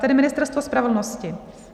Tedy Ministerstvo spravedlnosti.